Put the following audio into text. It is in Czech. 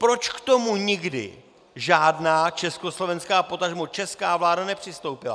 Proč k tomu nikdy žádná československá, potažmo česká vláda nepřistoupila?